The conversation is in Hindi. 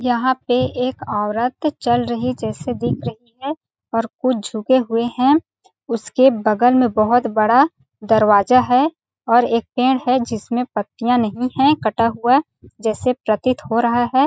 यहाँ पे एक औरत चल रही जैसे दिख रही है और कुछ झुके हुए है उसके बगल में बहुत बड़ा दरवाज़ा है और एक पेड़ है जिसमें पत्तियाँ नहीं है कटा हुआ जैसे प्रतीत हो रहा हैं ।